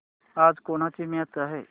आज कोणाची मॅच आहे